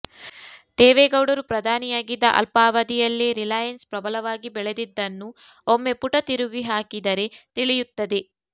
ದೇವೇಗೌಡರು ಪ್ರಧಾನಿಯಾಗಿದ್ದ ಅಲ್ಪಾವಧಿಯಲ್ಲೇ ರಿಲೈಯನ್ಸ್ ಪ್ರಬಲವಾಗಿ ಬೆಳೆದಿದ್ದನ್ನು ಒಮ್ಮೆ ಪುಟ ತಿರುಗಿಹಾಕಿದರೆ ತಿಳಿಯುತ್ತದೆ